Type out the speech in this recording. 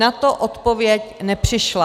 Na to odpověď nepřišla.